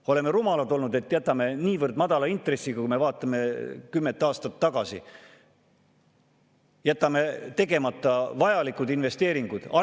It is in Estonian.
Me oleme rumalad olnud, et oleme jätnud niivõrd madala intressi korral, kui me vaatame kümmet aastat tagasi, vajalikud investeeringud tegemata.